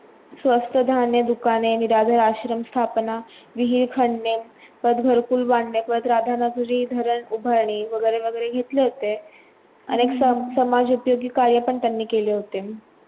स्वस्त धान्य दुकाने, निराधार आश्रम स्थापना, विहीर खणणे, परत गुरुकुल बांधणे, परत राधानगरी धरण उभारणे, वैगरे वैगरे घेतले होते, अनेक स समाज उपयोगी कार्य पण त्यांनी केले होते.